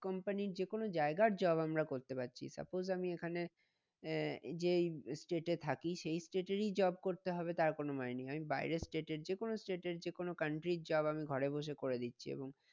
Company র যে কোনো জায়গার job আমরা করতে পারছি। suppose আমি এখানে আহ এই যে এই state এ থাকি সেই state এরই job করতে হবে তার কোনো মানে নেই। আমি বাইরের state এর যে কোনো state এর যে কোনো country র job আমি ঘরে বসে করে দিচ্ছি এবং